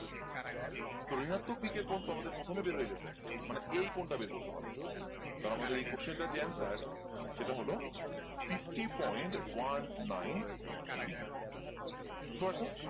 তো ঋনাত্মক দিকের কোণ তো আমাদের প্রথমে বের হয়ে গেছে মানে এই কোণটা বের করতে হবে তাহলে আমাদের এই question টার যে answer সেটা হলো fifty point one nine degree বুঝতে পারছ?